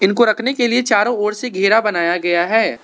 को रखने के लिए चारों ओर से घेरा बनाया गया है।